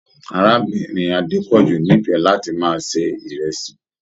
Arábìnrin Adepoju n'ifẹ láti máa ṣe ìrẹsì.